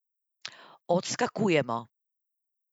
Odskakujemo.